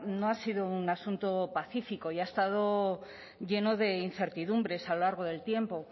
no ha sido un asunto pacífico y ha estado lleno de incertidumbres a lo largo del tiempo